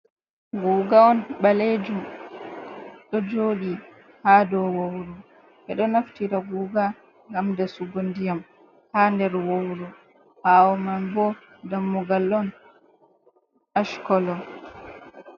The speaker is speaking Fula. Guga on ɓaleejum ɗo joɗi ha dou wawru. Ɓe ɗo naftira guga ngam dasugo ndiyam ha nder wawru, ɓaawo man bo dammugal on, ash kolo.